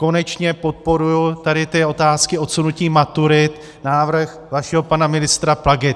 Konečně podporuji tady ty otázky odsunutí maturit, návrh vašeho pana ministra Plagy.